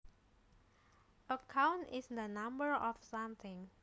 A count is the number of something